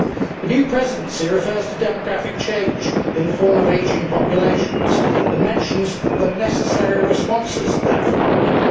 The new Presidency refers to demographic change in the form of ageing populations and mentions the necessary responses to that phenomenon.